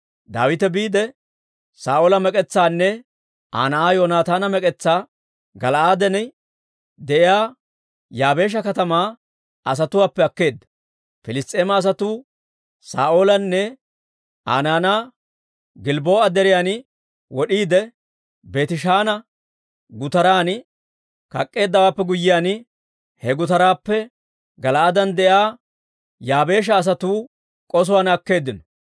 Daawite biide, Saa'oola mek'etsaanne Aa na'aa Yoonataana mek'etsaa Gala'aaden de'iyaa Yaabeesha katamaa asatuwaappe akkeedda. Piliss's'eema asatuu Saa'oolanne Aa naanaa Gilbboo'a deriyaan wod'iide, Beetishaana gutaran kak'k'eeddaawaappe guyyiyaan, he gutaraappe Gala'aaden de'iyaa Yaabeesha asatuu k'osuwaan akkeeddino.